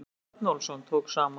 Þorvaldur Örnólfsson tók saman.